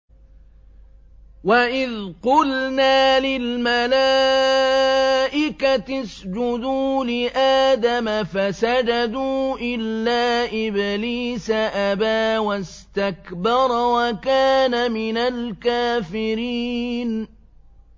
وَإِذْ قُلْنَا لِلْمَلَائِكَةِ اسْجُدُوا لِآدَمَ فَسَجَدُوا إِلَّا إِبْلِيسَ أَبَىٰ وَاسْتَكْبَرَ وَكَانَ مِنَ الْكَافِرِينَ